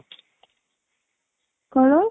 କ'ଣ?